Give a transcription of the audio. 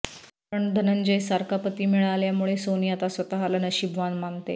पण धनंजयसारखा पती मिळाल्यामुळे सोनी आता स्वतःला नशीबवान मानते